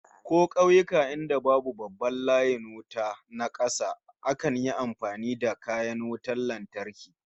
Ko kauyuka inda babu babban layin wuta na kasa, akan yi amfani da kayan wutan lantarki